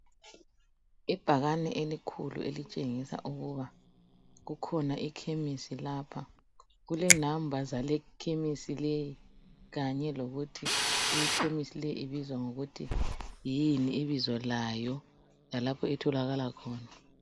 Ibhakani elikhulu elitshengisa ukuba kukhona ikhemisi lapha. Kule namba zale khemisi leyi Kanye lokuthi ikhemisi leyi ibizwa ngokuthi yini ibizo layo lalapho etholakala khona .